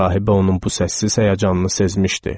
Rahibə onun bu səssiz həyəcanını sezmişdi.